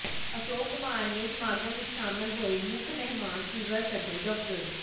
ਅਸ਼ੋਕ ਕੁਮਾਰ ਨੇ ਸਮਾਗਮ ਵਿਚ ਸ਼ਾਮਲ ਹੋਏ ਮੁੱਖ ਮਹਿਮਾਨ ਸਿਵਲ ਸਰਜਨ ਡਾ